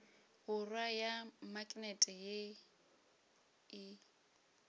borwa ya maknete ye e